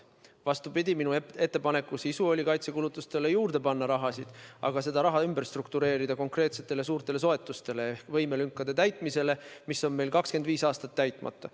Vastupidi, minu ettepaneku sisu oli kaitsekulutusteks raha juurde panna, aga seda raha ümber struktureerida, nii et see läheks konkreetsetele suurtele soetustele ehk võimelünkade täitmisele, mis on meil 25 aastat täitmata.